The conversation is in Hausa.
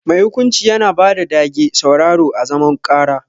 Mai hukunci Yana bada dage sauraron à zaman karà.